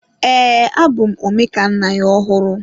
Ee, abụ m Omekannaya ọhụrụ.